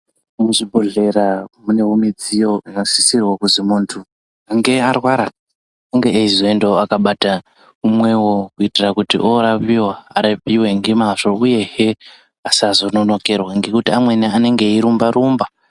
Muzvibhodhlera munewo midziyo dzakasisirwa kuzi muntu ange arwara ange eizoendawo akabata umwewo, kuitira kuti orapiwa arapiwe ngemazvo uyehe asazononokerwa ngekuti amweni anenge eirumba rumba.